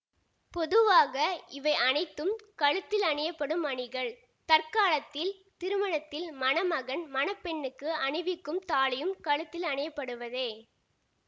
பொதுவாக இவை அனைத்தும் கழுத்தில் அணியப்படும் அணிகள் தற்காலத்தில் திருமணத்தில் மணமகன் மணப்பெண்ணுக்கு அணிவிக்கும் தாலியும் கழுத்தில் அணியப்படுவதே